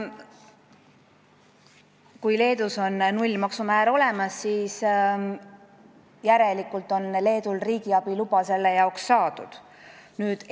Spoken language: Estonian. Kui Leedus on nullmaksumäär olemas, siis järelikult on tal selle jaoks saadud riigiabiluba.